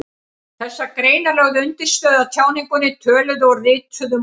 Þessar greinar lögðu undirstöðu að tjáningunni, töluðu og ritaðu máli.